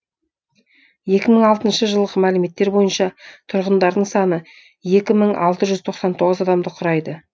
екі мың алтыншы жылғы мәліметтер бойынша тұрғындарының саны екі мың алты жүз тоқсан тоғыз адамды құрайды